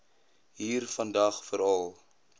hier vandag veral